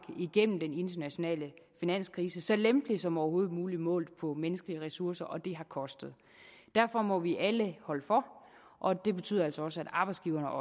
igennem den internationale finanskrise så lempeligt som overhovedet muligt målt på menneskelige ressourcer og det har kostet derfor må vi alle holde for og det betyder altså også at arbejdsgiverne